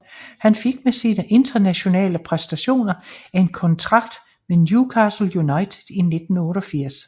Han fik med sine internationale præstationer en kontrakt med Newcastle United i 1988